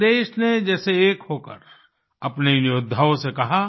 पूरे देश ने जैसे एक होकर अपने इन योद्धाओं से कहा